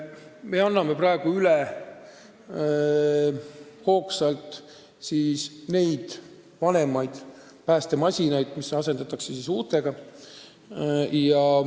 Me anname praegu hoogsalt üle vanemaid päästemasinaid, mis asendatakse uutega.